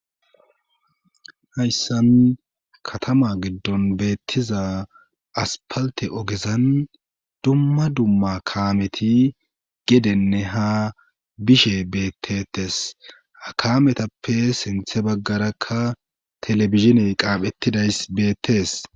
Hayssan katama giddon beettiza aspalte ogezan dumma dumma kaameti gedenne ha bishe bettetes akaametappe sinthe baggarakka telebiziney qaaphettidays beettes.